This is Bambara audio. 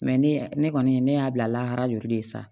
ne ne kɔni ne y'a bila la hɛrɛ ju de ye sa